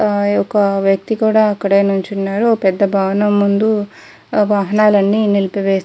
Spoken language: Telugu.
ఆ యొక వ్యక్తి కూడా అక్కడే నించున్నారు ఒక పెద్ద భవనం ముందు వాహనాలు అన్నీ నీలిపి వేసి --